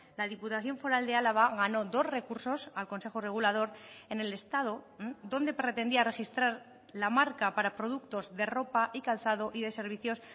la diputación foral de álava ganó dos recursos al consejo regulador en el estado donde pretendía registrar la marca para productos de ropa y calzado y de servicios